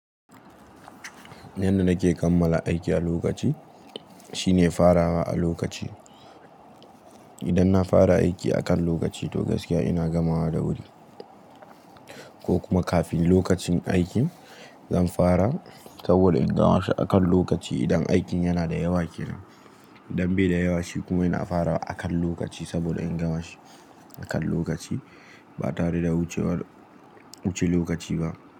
Yanda nake kammala aiki a lokaci shine farawa a lokaci. Idan na fara aiki akan lokaci to gaskiya ina gamawa da wuri, ko kuma kafin lokacin aikin zan fara saboda in gama shi akan lokaci. Idan aikin yana da yawa ke nan, idan be da yawa shi kuma ina farawa akan lokaci saboda in gama shi akan lokaci ba tare da wuce lokaci ba.